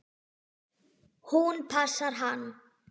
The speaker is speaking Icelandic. Hún passar hann!